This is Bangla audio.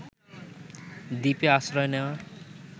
দ্বীপে আশ্রয় নেওয়া